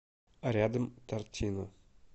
рядом тортино